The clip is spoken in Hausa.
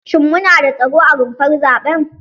Shin mu nada tsaro a rumfar zaɓen?